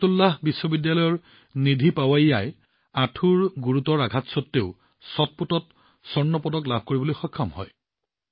বৰকাতুল্লাহ বিশ্ববিদ্যালয়ৰ নিধি পোৱাইয়াই আঁঠুৰ গুৰুতৰ আঘাতৰ মাজতো শ্বটপুটত স্বৰ্ণ পদক লাভ কৰিবলৈ সক্ষম হয়